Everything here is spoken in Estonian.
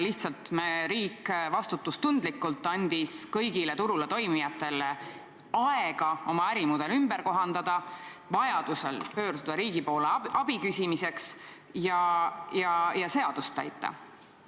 Riik andis vastutustundlikult kõigile turul toimijatele aega oma ärimudel ümber kohandada, vajadusel pöörduda riigi poole abi küsimiseks ja seadust täita.